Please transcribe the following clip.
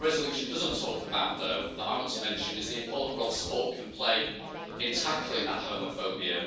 What the resolution doesn't talk about, though, that I want to mention, is the important role sport can play in tackling that homophobia.